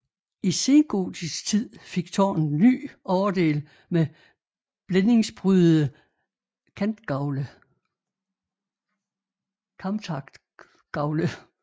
I sengotisk tid fik tårnet ny overdel med blændingsprydede kamtakgavle